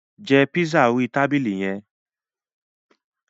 Jẹ pizza orí tabili yẹn!